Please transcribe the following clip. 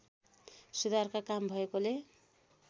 सुधारका काम भएकोले